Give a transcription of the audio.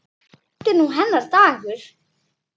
Þetta er nú hennar dagur.